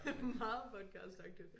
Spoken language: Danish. Meget podcastagtigt